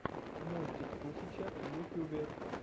мультик тушича в ютьюбе